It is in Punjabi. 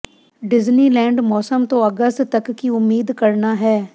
ਡਿਜਨੀਲੈਂਡ ਮੌਸਮ ਤੋਂ ਅਗਸਤ ਤੱਕ ਕੀ ਉਮੀਦ ਕਰਨਾ ਹੈ